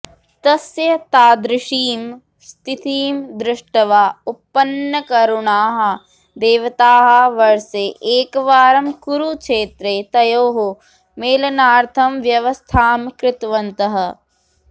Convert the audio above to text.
तस्य तादृशीं स्थितिं दृष्ट्वा उत्पन्नकरुणाः देवताः वर्षे एकवारं कुरुक्षेत्रे तयोः मेलनार्थं व्यवस्थां कृतवन्तः